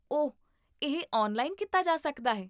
ਓਹ, ਇਹ ਔਨਲਾਈਨ ਕੀਤਾ ਜਾ ਸਕਦਾ ਹੈ?